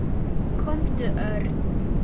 Komdu, Örn.